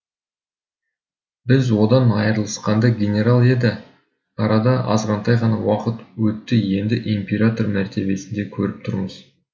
біз одан айырылысқанда генерал еді арада азғантай ғана уақыт өтті енді император мәртебесінде көріп тұрмыз